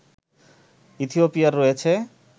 ইথিওপিয়ায় রয়েছে